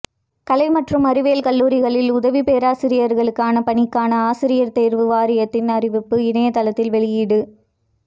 கலை மற்றும் அறிவியல் கல்லூரிகளில் உதவி பேராசிரியர்களுக்கான பணிக்காண ஆசிரியர் தேர்வு வாரியத்தின் அறிவிப்பு இணையதளத்தில் வெளியீடு